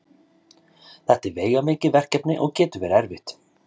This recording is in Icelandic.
þetta er veigamikið verkefni og getur verið erfitt